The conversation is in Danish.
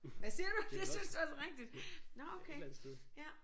Hvad siger du det synes du også er rigtigt. Nåh okay ja